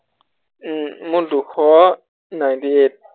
উম মোৰ দুশ ninety eight